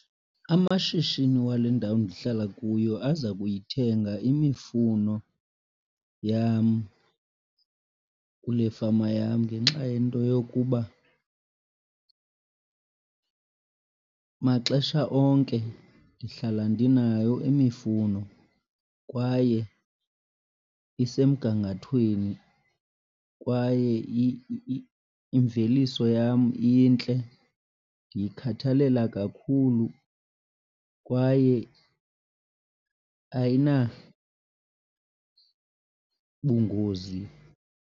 Amashishini wale ndawo ndihlala kuyo aza kuyithenga imifuno yam kule fama yam ngenxa yento yokuba maxesha onke ndihlala ndinayo imifuno kwaye isemgangathweni, kwaye imveliso yam intle ndiyikhathalela kakhulu kwaye ayinabungozi.